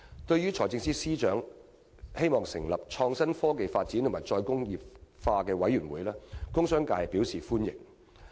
對於財政司司長擬成立創新、科技發展與"再工業化"委員會，工商界表示歡迎。